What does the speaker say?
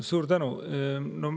Suur tänu!